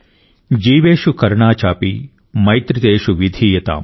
జీవేషు కరుణా చాపి మైత్రీ తేషు విధీయతామ్